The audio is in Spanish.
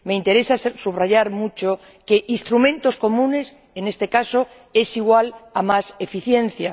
Me interesa subrayar mucho que instrumentos comunes en este caso es igual a más eficiencia.